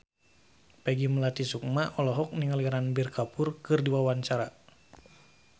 Peggy Melati Sukma olohok ningali Ranbir Kapoor keur diwawancara